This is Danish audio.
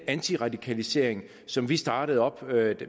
antiradikaliseringsindsats som vi startede op